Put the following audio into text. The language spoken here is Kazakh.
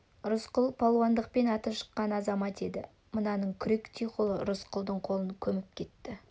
рысқұл палуандықпен аты шыққан-ақ азамат еді мынаның күректей қолы рысқұлдың қолын көміп кетті